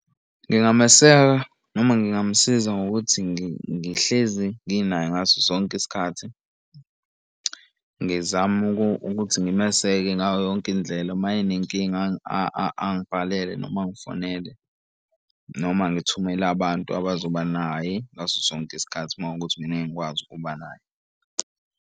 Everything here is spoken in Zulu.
Ngingameseka noma ngingamusiza ngokuthi ngihlezi nginaye ngaso sonke isikhathi. Ngizame ukuthi ngimeseke ngayo yonke indlela. Uma enenkinga angibhalele noma angifonele noma ngithumele abantu abazoba naye ngaso sonke isikhathi uma kuwukuthi mina ngeke ngikwazi ukuba naye.